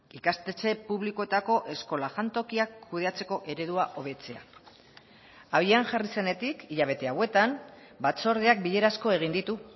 ikastetxe publikoetako eskola jantokiak kudeatzeko eredua hobetzea abian jarri zenetik hilabete hauetan batzordeak bilera asko egin ditu